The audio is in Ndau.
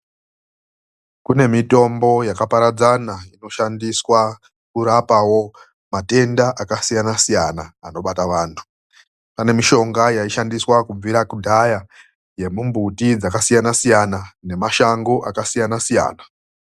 KUNE MITOMBO YAKAPARADZANA INOSHANDISWA KURAPAWO MATENDA AKASIYANA-SIYANA ANOBATA VANTU. PANE MISHONGA YAISHANDISWA KUBVIRA KUDHAYA YEMUMBUTI DZAKASIYANA SIYANA NEMASHANGO AKASIYANA-SIYANA.